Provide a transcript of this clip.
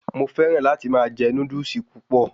Mo fẹràn láti máa jẹ Núdúsì púpọ̀